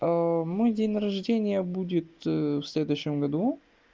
мой день рождения будет в следующем году